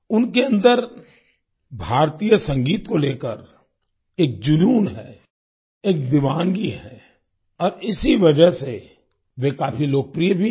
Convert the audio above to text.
उनके अंदर भारतीय संगीत को लेकर एक जुनून है एक दीवानगी है और इसी वजह से वे काफी लोकप्रिय भी हैं